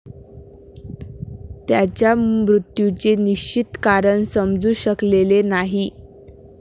त्याच्या मृत्यूचे निश्चित कारण समजू शकलेले नाही.